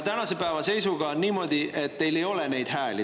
Tänase päeva seisuga on niimoodi, et teil ei ole neid hääli.